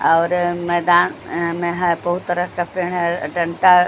और मैदान में है बहुत तरह का पेड़ है डंटा--